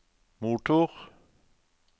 motor